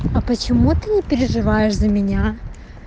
а почему ты не переживаешь за меня